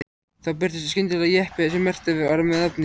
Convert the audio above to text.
Þá birtist skyndilega jeppi sem merktur var með nafninu